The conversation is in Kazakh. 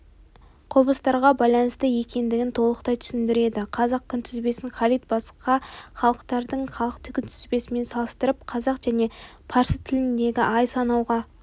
құбылыстарға байланысты екендігін толықтай түсіндіреді қазақ күнтізбесін халид басқа халықтардың халық күнтізбесімен салыстырып қазақ және парсы тілдеріндегі ай санауға